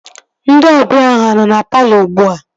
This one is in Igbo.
Ndị ọbịa ahụ anọ na palọ ugbua?